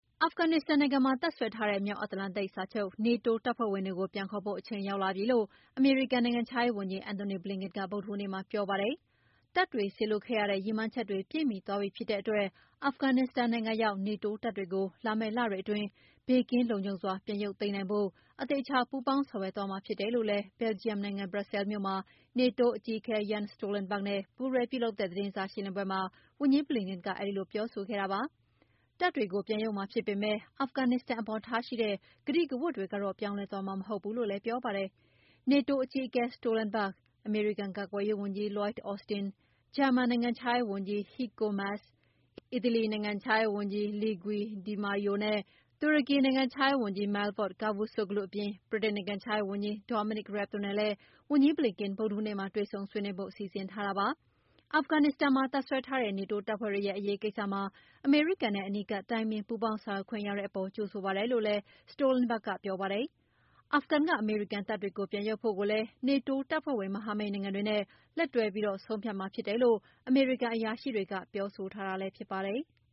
အာဖဂန်နစ္စတန်နိုင်ငံမှာ တပ်စွဲထားတဲ့ မြောက်အန္တလန်တိန်စာချုပ် NATO တပ်ဖွဲ့ဝင်တွေကို ပြန်ခေါ်ဖို့ အချိန်ရောက်လာပြီလို့ အမေရိကန်နိုင်ငံခြားရေးဝန်ကြီး Antony Blinken က ဗုဒ္ဓဟူးနေ့မှာပြောပါတယ်။ တပ်တွေစေလွှတ်ခဲ့ရတဲ့ ရည်မှန်းချက်တွေ ပြည့်မှီသွားပြီဖြစ်တဲ့အတွက် အာဖဂန်နစ္စတန်နိုင်ငံရောက်နေတိုး တပ်တွေကို လာမယ့်လတွေအတွင်း ဘေးကင်းလုံခြုံစွာပြန်ရုပ်သိမ်းနိုင်ဖို့ အသေအချာပူးပေါင်းဆောင်ရွက်သွားမှာဖြစ်တယ်လို့လည်း ဘယ်လ်ဂျီယံနိုင်ငံဘရပ်ဆဲလ်မြို့မှာ နေတိုးအကြီးအကဲ Jens Stoltenberg နဲ့ပူးတွဲလုပ်တဲ့သတင်းစာရှင်းလင်းပွဲမှာ ဝန်ကြီး Blinken ကအဲဒီလို ပြောဆိုခဲ့တာပါ။ တပ်တွေကို ပြန်ရုပ်မှာဖြစ်ပေမယ့် အာဖဂန်နစ္စတန်အပေါ်ထားရှိတဲ့ ကတိကဝတ်တွေတော့ ပြောင်းလဲသွားမှာမဟုတ်ဘူးလို့လည်း ပြောပါတယ်။ နေတိုးအကြီးအကဲ Stolenberg အမေရိကန်ကာကွယ်ရေးဝန်ကြီး Lloyd Austin၊ ဂျာမန်နိုင်ငံခြားရေးဝန်ကြီး Heiko Maas ၊ အီတလီနိုင်ငံခြားရေးဝန်ကြီး Luigi DiMaio နဲ့ တူရကီနိုင်ငံခြားရေးဝန်ကြီး Mevlut Cavusoglu အပြင် ဗြိတိန်နိုင်ငံခြားရေးဝန်ကြီး Domonic Raab တို့နဲ့လည်း ဝန်ကြီး Blinken ဗုဒ္ဓဟူးနေ့မှာ တွေ့ဆုံဆွေးနွေးဖို့လည်း စီစဉ်ထားပါတယ်။ အာဖဂန်နစ္စတန်မှာတပ်စွဲထားတဲ့နေတိုးတပ်ဖွဲ့တွေရဲ့ အရေးကိစ္စမှာ အမေရိကန်နဲ့ အနီးကပ်တိုင်ပင် ပူးပေါင်းဆောင်ရွက်ခွင့်ရတဲ့အပေါ် ကြိုဆိုပါတယ်လို့ Stolenberg ကပြောပါတယ်။ အာဖဂန်က အမေရိကန်တပ်တွေကို ပြန်ရုပ်ဖို့ကိုလည်း နေတိုးတပ်ဖွဲ့ဝင် မဟာမိတ်နိုင်ငံ တွေနဲ့ လက်တွဲပြီး ဆုံးဖြတ်မှာဖြစ်တယ်လို့ အမေရိကန်အရာရှိတွေကပြောဆိုထားတာဖြစ်ပါတယ်။